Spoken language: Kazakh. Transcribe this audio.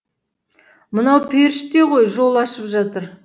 мынау періште ғой жол ашып жатыр